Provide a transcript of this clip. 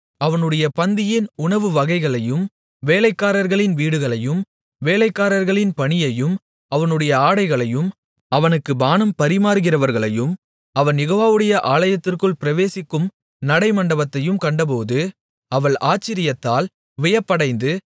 அவனுடைய பந்தியின் உணவு வகைகளையும் வேலைக்காரர்களின் வீடுகளையும் வேலைக்காரர்களின் பணியையும் அவனுடைய ஆடைகளையும் அவனுக்கு பானம் பரிமாறுகிறவர்களையும் அவன் யெகோவாவுடைய ஆலயத்திற்குள் பிரவேசிக்கும் நடைமண்டபத்தையும் கண்டபோது அவள் ஆச்சரியத்தால் வியப்படைந்து